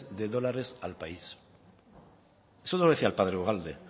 de dólares al país esto no lo decía el padre ugalde